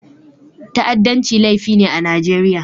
Ta'addanci laifi ne a Najeriya.